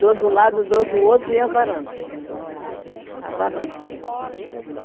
Dois de um lado, dois do outro e a varanda. A varanda,é